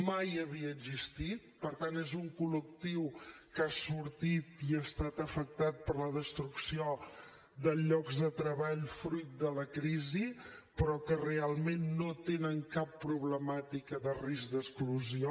mai havia existit per tant és un col·lectiu que ha sortit i ha estat afectat per la destrucció de llocs de treball fruit de la crisi però que realment no tenen cap problemàtica de risc d’exclusió